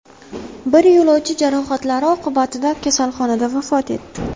Bir yo‘lovchi jarohatlari oqibatida kasalxonada vafot etdi.